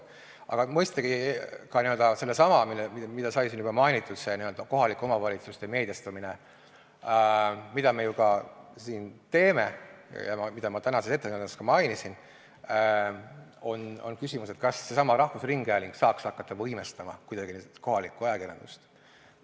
Aga mõistagi on siin ka seesama küsimus, mida sai siin juba mainitud, see n-ö kohalike omavalitsuste meediastumine, millega me siin ka tegeleme ja mida ma tänases ettekandes ka mainisin, see küsimus, kas seesama rahvusringhääling saaks hakata võimestama kuidagi kohalikku ajakirjandust.